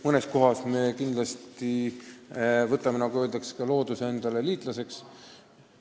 Mõnes kohas me kindlasti võtame, nagu öeldakse, looduse endale liitlaseks.